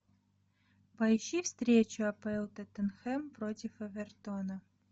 поищи встречу апл тоттенхэм против эвертона